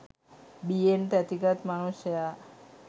බියෙන් තැතිගත් මනුෂ්‍යයා